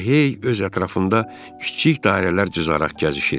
Elə hey öz ətrafında kiçik dairələr cızaraq gəzişir.